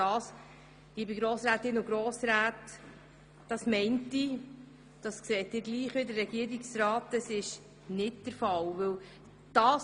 Liebe Grossrätinnen und Grossräte, ich denke, Sie gehen mit dem Regierungsrat darin einig, dass dies nicht der Fall ist.